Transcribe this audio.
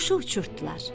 Quşu uçurtdular.